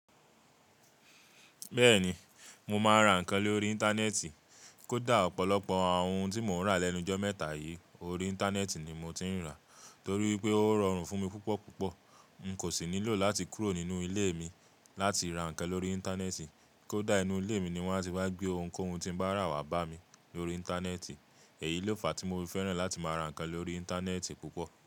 Bẹ́ẹ̀ni, mo máa ń ra nǹkan lórí Íńtánẹ́ẹ̀tì. Kódà ọ̀pọ̀lọpọ̀ àwọn ohun tí mò ń ra lẹ́nu jọ́ mẹ́ta yìí lórí Íńtánẹ́ẹ̀tì ni mo ti ń rà. Torí pé ó rọrùn fún mi púpọ̀púpọ̀. N kò sì nílò láti kúrò nínú ilé mi láti ra ǹkan lórí Íńtánẹ́ẹ̀tì. Kódà inú ilé mi ni wọ́n á ti wá gbé ohunkóhun tí mo bá rà wá bá mi lórí Íńtánẹ́ẹ̀tì. Èyí ló fàá tí mo fi fẹ́ràn láti máa ra ǹkan lórí Íńtánẹ́ẹ̀tì púpọ̀